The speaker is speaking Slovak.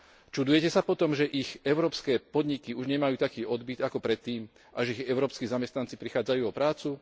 Čudujete sa po tom, že ich európske podniky už nemajú taký odbyt ako predtým a že ich európski zamestnanci prichádzajú o prácu?